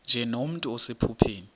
nje nomntu osephupheni